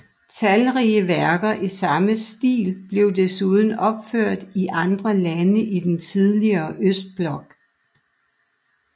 Talrige værker i samme stil blev desuden opført i andre lande i den tidligere Østblok